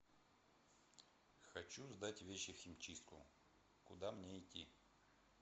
хочу сдать вещи в химчистку куда мне идти